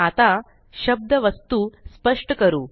आताशब्द वस्तू स्पष्ट करू